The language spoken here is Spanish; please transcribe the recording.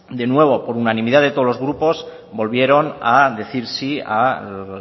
de nuevo por unanimidad de todos los grupos volvieron a decir sí al